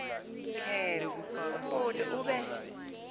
khetsa umbuto ube